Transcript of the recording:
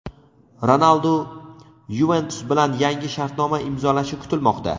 Ronaldu "Yuventus" bilan yangi shartnoma imzolashi kutilmoqda.